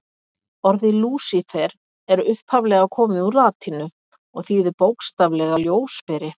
Orðið Lúsífer er upphaflega komið úr latínu og þýðir bókstaflega ljósberi.